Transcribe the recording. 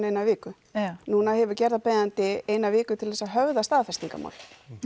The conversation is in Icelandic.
eina viku nú hefur gerðarbeiðandi eina viku til að höfða staðfestingarmál